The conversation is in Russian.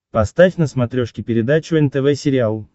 поставь на смотрешке передачу нтв сериал